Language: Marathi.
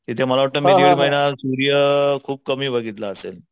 तिथे मला वाटत मी दीड महिना सूर्य खूप कमी बघितला असेल.